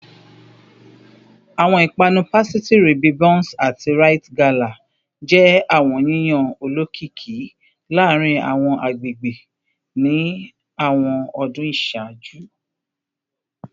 Awọn ipanu pasitiri bi bounce ati rite gala jẹ awọn yiyan olokiki laarin awọn agbegbe ni awọn ọdun iṣaaju